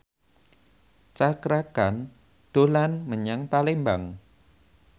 Cakra Khan dolan menyang Palembang